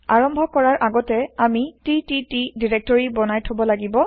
আৰম্ভ কৰাৰ আগতে আমি টিটিটি দাইৰেক্টৰি বনাই থব লাগিব